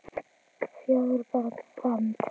Fjögur börn fermd.